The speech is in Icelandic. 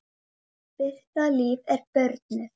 Birta Líf er börnuð.